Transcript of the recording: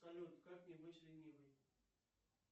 салют как не быть ленивой